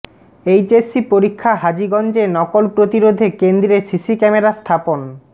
HSC পরীক্ষা হাজীগঞ্জে নকল প্রতিরোধে কেন্দ্রে সিসি ক্যামেরা স্থাপন